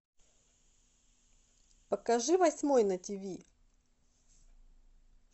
покажи восьмой на тиви